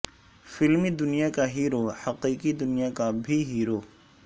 فلمی دنیا کا ہیرو حقیقی دنیا کا بھی ہیرو